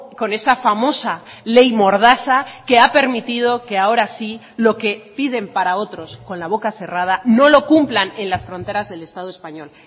con esa famosa ley mordaza que ha permitido que ahora sí lo que piden para otros con la boca cerrada no lo cumplan en las fronteras del estado español